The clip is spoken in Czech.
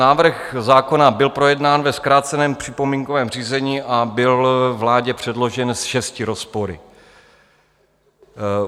Návrh zákona byl projednán ve zkráceném připomínkovém řízení a byl vládě předložen s šesti rozpory.